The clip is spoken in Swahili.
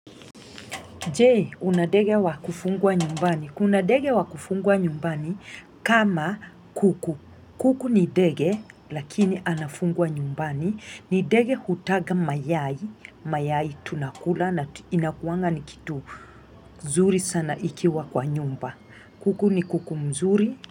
Je, una ndege wa kufungwa nyumbani. Kuna ndege wa kufungwa nyumbani kama kuku. Kuku ni ndege, lakini anafungwa nyumbani. Ni ndege anayetaga mayai. Mayai tunakula na huwa ni kitu. Zuri sana ikiwa kwa nyumba. Kuku ni kuku mzuri.